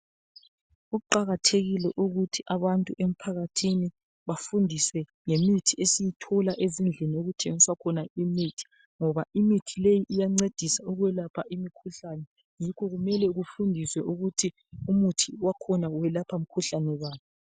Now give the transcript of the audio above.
Kuqakathekile ukuthi abantu emphakathini bafundise ngemithi esiyithola ezindlini okuthengiswa khona imithi ngoba imithi leyi iyancedisa ukwelapha imikhuhlane yikho kumele kufundiswe ukuthi umuthi wakhona welapha mkhuhlane bani.